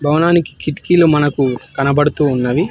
కొనానికి కిటికీలు మనకు కనబడుతూ ఉన్నవి.